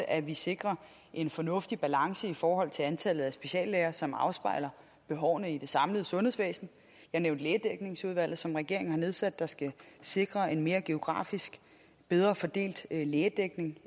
at vi sikrer en fornuftig balance i forhold til antallet af speciallæger som afspejler behovene i det samlede sundhedsvæsen jeg nævnte lægedækningsudvalget som regeringen har nedsat der skal sikre en mere geografisk bedre fordelt lægedækning